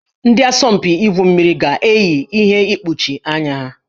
Ndị asọmpi igwu mmiri ga-eyi ihe mkpuchi anya ha